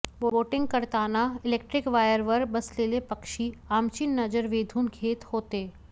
boating करताना electric वायरवर बसलेले पक्षी आमची नजर वेधून घेत होते